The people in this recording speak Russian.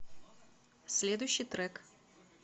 следующий трек